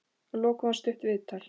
Að lokum var stutt viðtal.